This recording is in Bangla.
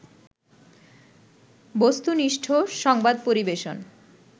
বস্তুনিষ্ঠ সংবাদ পরিবেশন